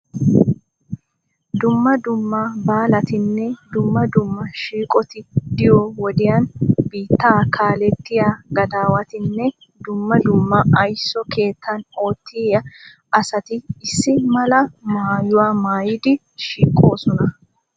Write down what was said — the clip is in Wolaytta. Dumma dumma baalatinne dumma dumma shiiqoti diyo wodiyaani biittaa kaalettiya gadaawatinne dumma dumma ayiso keettan oottiya asati issi mala maayuwa maayidi shiiqoosona.